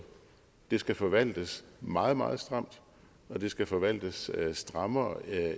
det skal forvaltes meget meget stramt og det skal forvaltes strammere